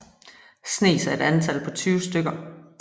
Snes er et antal på 20 stykker